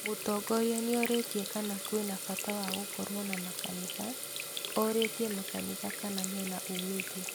Mũtongoria nĩoritie kana kwĩ na bata wa gũkorwo namakanitha, orĩtie makanitha kana mena umithio